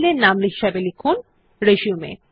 ফাইলের নাম হিসাবে লিখুন রিসিউম